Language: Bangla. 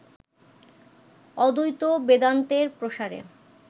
অদ্বৈত বেদান্তের প্রসারে